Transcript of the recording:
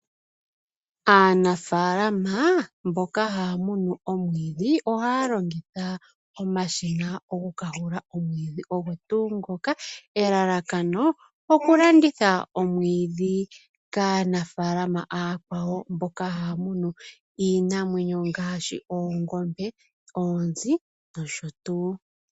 Aanafaalama mboka haya munu omwidhi ohaya longitha omashina okukahula omwidhi ogo tuu ngoka elalakano okulanditha omwidhi kaanafaalama akwawo mboka haya munu iinamwenyo ngaashi oongombe, oonzi nosho tuu.